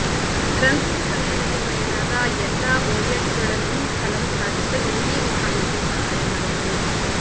ರಂಧ್ರದ ಸಮಯದಲ್ಲಿ ಪಡೆಯಲಾದ ಎಲ್ಲಾ ಒಯ್ಯಟ್ಗಳನ್ನು ಫಲವತ್ತಾಗಿಸಲು ಈ ವಿಧಾನವು ಸಹಾಯ ಮಾಡುತ್ತದೆ